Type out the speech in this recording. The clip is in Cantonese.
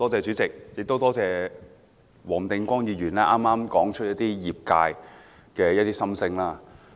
主席，多謝黃定光議員剛才說出了業界的心聲。